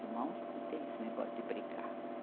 Irmãos não tem esse negócio de brigar.